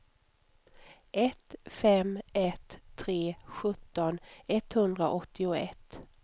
ett fem ett tre sjutton etthundraåttioett